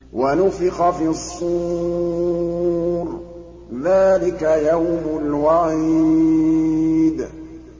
وَنُفِخَ فِي الصُّورِ ۚ ذَٰلِكَ يَوْمُ الْوَعِيدِ